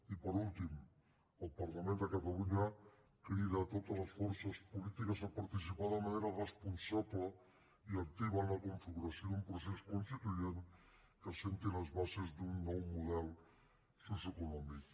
i per últim el parlament de catalunya crida totes les forces polítiques a participar de manera responsable i activa en la configuració d’un procés constituent que assenti les bases d’un nou model socioeconòmic